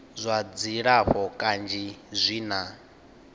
zwa dzilafho kanzhi zwi na